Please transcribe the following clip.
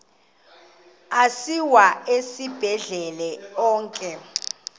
asiwa esibhedlele onke